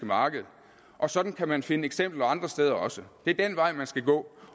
marked og sådan kan man finde eksempler andre steder også det er den vej man skal gå